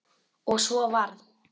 Og svo varð.